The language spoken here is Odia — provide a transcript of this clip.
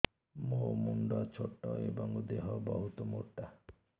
ମୋ ମୁଣ୍ଡ ଛୋଟ ଏଵଂ ଦେହ ବହୁତ ମୋଟା